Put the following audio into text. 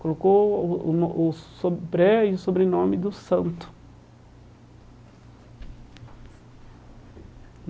Colocou o o o sobré e o sobrenome do santo.